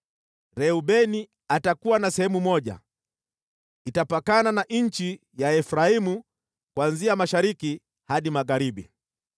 “Reubeni atakuwa na sehemu moja, itapakana na nchi ya Efraimu kuanzia mashariki hadi magharibi.